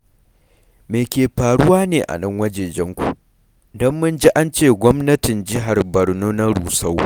Me ke faruwa ne a nan wajejenku, don mun ji an ce gwamnatin jihar Barno na rusau?